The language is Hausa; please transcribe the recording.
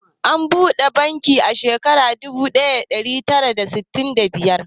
An buɗe bankin Wema a shekarar dubu ɗaya da ɗari tara da arba'in da biyar.